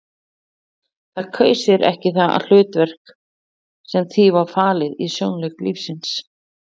Það kaus sér ekki það hlutverk sem því var falið í sjónleik lífsins.